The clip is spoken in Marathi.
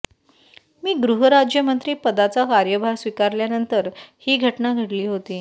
मी गृहराज्यमंत्री पदाचा कार्यभार स्वीकारल्यानंतर ही घटना घडली होती